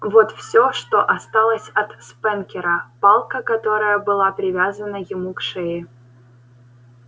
вот всё что осталось от спэнкера палка которая была привязана ему к шее